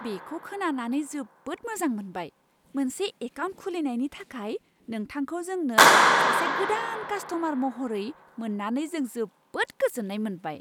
बेखौ खोनानानै जोबोद मोजां मोनबाय! मोनसे एकाउन्ट खुलिनायनि थाखाय नोंथांखौ जोंनो सासे गोदान कास्ट'मार महरै मोन्नानै जों जोबोद गोजोन्नाय मोनबाय!